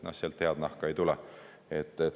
Sealt head nahka ei tule.